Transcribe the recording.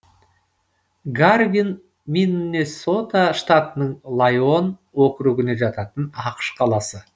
гарвин миннесота штатының лайон округіне жататын ақш қаласы